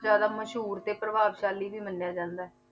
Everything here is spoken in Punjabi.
ਜ਼ਿਆਦਾ ਮਸ਼ਹੂਰ ਤੇ ਪ੍ਰਭਾਵਸ਼ਾਲੀ ਵੀ ਮੰਨਿਆ ਜਾਂਦਾ ਹੈ।